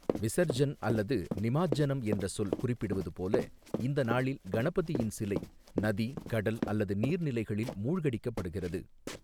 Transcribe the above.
விசர்ஜன்' அல்லது 'நிமாஜ்ஜனம்' என்ற சொல் குறிப்பிடுவது போல, இந்த நாளில் கணபதியின் சிலை நதி, கடல் அல்லது நீர்நிலைகளில் மூழ்கடிக்கப்படுகிறது.